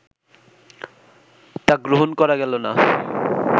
তা গ্রহণ করা গেল না